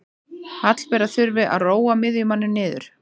Hallbera þurfti að róa miðjumanninn niður.